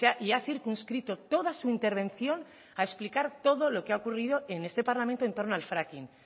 y ha circunscrito toda su intervención a explicar todo lo que ha ocurrido en este parlamento en torno al fracking